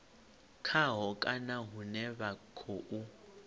khaho kana hune vha khou